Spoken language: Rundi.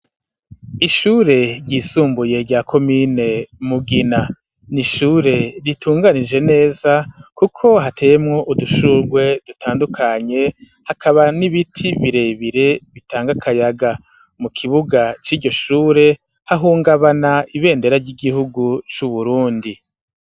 Ishure ry'isumbuye rya komine Mugina n'ishure ritunganije neza kuko hateyemwo udushurwe dutandukanye hakaba n'ibiti birebire bitanga akayaga mu kibuga c'iryo shure hahungabana ibendera ry'igihugu cu Burundi